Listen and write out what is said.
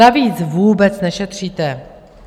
Navíc vůbec nešetříte.